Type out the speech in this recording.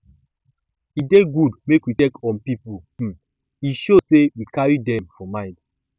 e dey good make we check on people um e show sey we carry dem um for mind